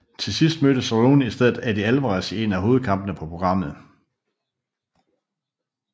Til sidst mødte Cerrone i stedet Eddie Alvarez i en af hovedkampene på programmet